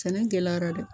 Sɛnɛ gɛlɛyara dɛ